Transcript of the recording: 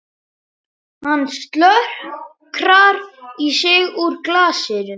Hann slokrar í sig úr glasinu.